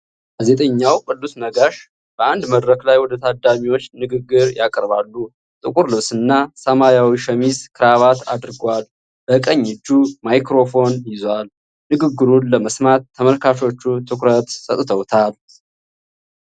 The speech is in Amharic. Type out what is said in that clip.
ጋዜጠኛው ቅዱስ ነጋሽ በአንድ መድረክ ላይ ወደታዳሚዎች ንግግር ያቀርባሉ። ጥቁር ልብስና ሰማያዊ ሸሚዝ ክራቫት አድርጓል። በቀኝ እጁ ማይክራፎን ይዟል። ንግግሩን ለመስማት ተመልካቾቹ ትኩረት ሰጥተውታል።